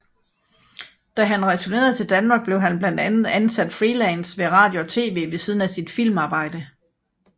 Da han returnerede til Danmark blev han blandt andet ansat freelance ved radio og TV ved siden af sit filmarbejde